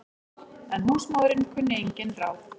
En húsmóðirin kunni engin ráð.